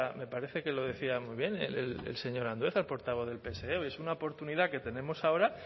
me parece que lo decía muy bien el señor andueza el portavoz del pse es una oportunidad que tenemos ahora